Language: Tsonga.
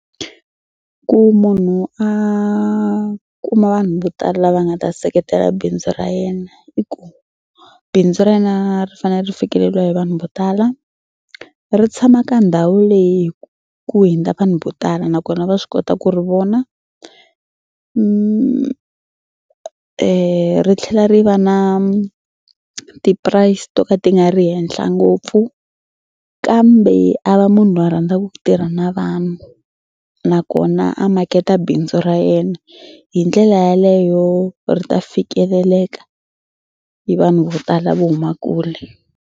Ku munhu a kuma vanhu vo tala lava nga ta seketela bindzu ra yena i ku bindzu ra yena ri fanele ri fikeleriwa hi vanhu vo tala ri tshama ka ndhawu leyi ku ku hundza vanhu vo tala nakona va swi kota ku ri vona ri tlhela ri va na ti-price to ka ti nga ri ehenhla ngopfu kambe a va munhu loyi a rhandzaku ku tirha na vanhu nakona a maketa bindzu ra yena hi ndlela yaleyo ri ta fikeleleka hi vanhu vo tala vo huma kule.